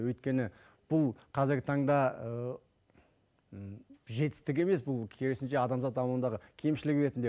өйткені бұл қазіргі таңда жетістік емес бұл керісінше адамзат дамуындағы кемшілік ретінде